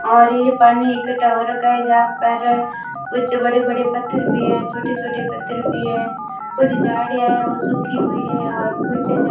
और ये पानी इकट्ठा हो रखा है जहां पर कुछ बड़े-बड़े पत्थर भी हैं छोटे-छोटे पत्थर भी हैं कुछ झाड़ियां हैं वो सूखी हुई हैं और कुछ झ --